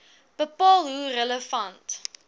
bepaal hoe relevant